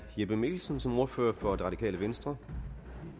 jeppe mikkelsen som ordfører for det radikale venstre